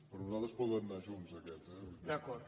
per nosaltres poden anar junts aquests eh